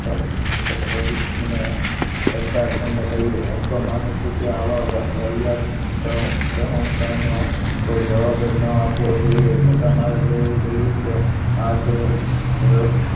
મને ચર્ચા થઈને કહ્યું હું તો માનુ છું કે આવા વાહિયાત કોઈ જવાબ જ ન આપવો જોઈએ છતાં મારે કહેવું જોઈએ કે આખરે રડવાનું